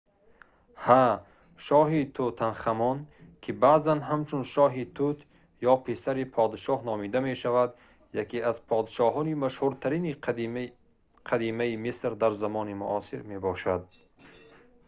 ҳа шоҳи тутанхамон ки баъзан ҳамчун шоҳи тут ё писар подшоҳ номида мешавад яке аз подшоҳони машҳуртарини қадимаи миср дар замони муосир мебошад